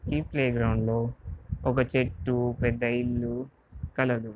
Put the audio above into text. ఈ playground లో ఒక చెట్టు పెద్ద ఇల్లు కలదు.